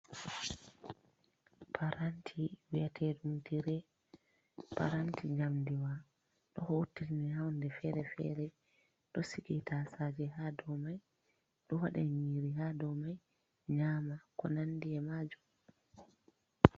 Paranti, bi'eteeɗum Tirey. Paranti njamdiwa ɗo huutiniree huunde fere-fere, ɗo sige taasaaje haa dow may, ɗo waɗa nyiiri haa dow may nyaama Ko nanndi e maajum.